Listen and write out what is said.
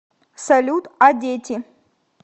салют а дети